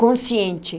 consciente.